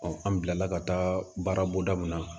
an bila la ka taa baara bonda min na